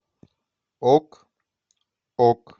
ок ок